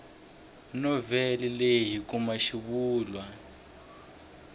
novhele leyi hi kuma xivulwa